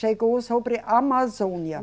Chegou sobre Amazônia.